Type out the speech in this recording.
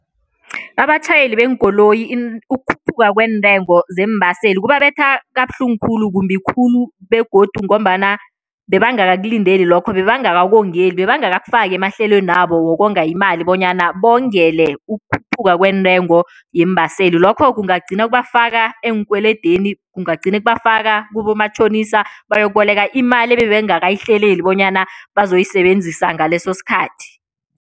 Abatjhayeli beenkoloyi ukukhuphuka kweentengo zeembaseli kubabetha kabuhlungu khulu, kumbi khulu begodu ngombana bebangakakulindeli lokho, bebangakakongeli, bebangakakufaki emahlelwenabo wokonga imali bonyana bongele ukukhuphuka kweentengo yeembaseli. Lokho kungagcina kubafaka eenkweledeni, kungagcine kubafaka kubomatjhonisa, bayokuboleka imali ebebangakayihleleli bonyana bazoyisebenzisa ngaleso sikhathi.